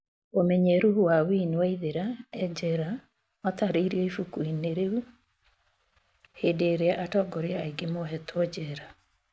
ũmenyeru wa winnie waithera e njera watarĩirio ibuku -inĩ rĩu hĩndĩ irĩa atongoria aĩngi mohetwo njera